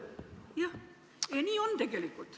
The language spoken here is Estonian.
Jah, nii on tegelikult.